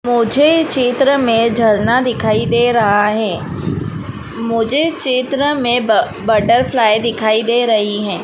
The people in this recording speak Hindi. मुझे चित्र में झरना दिखाई दे रहा है मुझे चित्र में ब बटरफ्लाई दिखाई दे रही है।